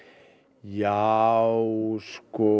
já sko